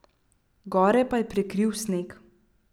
Gore pa je prekril sneg.